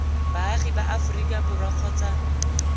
baagi ba aforika borwa kgotsa